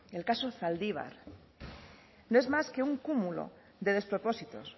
el caso zaldibar no es más que un cúmulo de despropósitos